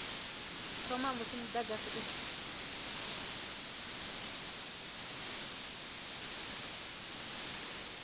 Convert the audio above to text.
thoma musi mudagasi u tshi